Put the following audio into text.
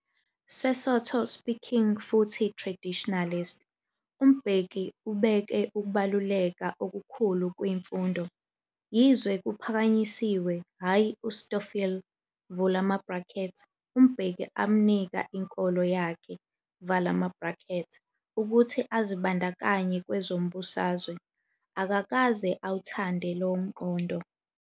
Sesotho -speaking futhi traditionalist, uMbeki ibekwe ukubaluleka okukhulu ku imfundo. Yize kuphakanyisiwe, hhayi uStofile, uMbeki amnika inkolo yakhe, ukuthi azibandakanye kwezombusazwe, akakaze athandwe yilomqondo.